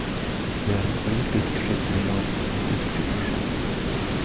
Det är en poetisk skildring av en politisk situation.